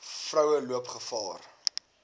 vroue loop gevaar